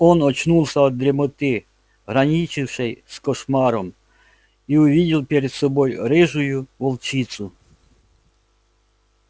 он очнулся от дремоты граничившей с кошмаром и увидел перед собой рыжую волчицу